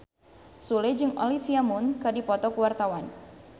Sule jeung Olivia Munn keur dipoto ku wartawan